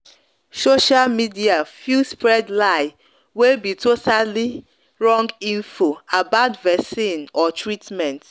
social media fit spread lie wey be totally wrong info about veccine or treatment.